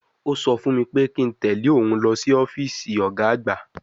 Ó sọ fún mi pé kí n tẹ̀ lé òun lọ sí ọ́fíìsì ọ̀gá àgbà